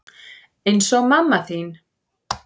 Eins og mamma þín.